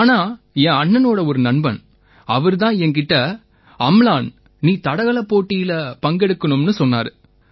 ஆனா என் அண்ணனோட ஒரு நண்பன் அவரு தான் என் கிட்ட அம்லான் நீ தடகளப் போட்டியில பங்கெடுக்கணும்னு சொன்னாரு